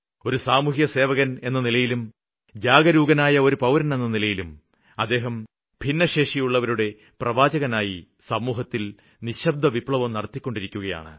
ഒരു സാമൂഹ്യസേവകന് എന്ന നിലയിലും ജാഗരൂകനായ ഒരു പൌരനെന്ന നിലയിലും അദ്ദേഹം ഭിന്നശേഷിയുള്ളവരുടെ പ്രവാചകനായി സമൂഹത്തില് നിശബ്ദവിപ്ലവം നടത്തിക്കൊണ്ടിരിക്കുകയാണ്